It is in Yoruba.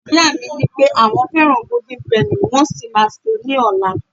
ìyá mi ni pe àwọn fẹràn golden penny, wan sí ma se ni ola